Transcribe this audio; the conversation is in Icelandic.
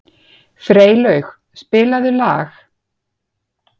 Freylaug, spilaðu lag.